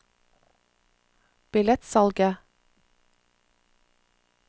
billettsalget